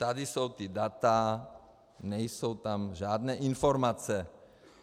Tady jsou ta data, nejsou tam žádné informace.